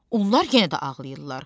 Onlar yenə də ağlayırlar.